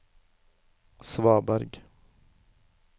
svaberg